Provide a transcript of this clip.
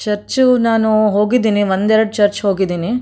Church ನಾನು ಹೋಗಿದ್ದೀನಿ ಒಂದೆರಡು ಚರ್ಚ್ ಹೋಗಿದ್ದೀನಿ.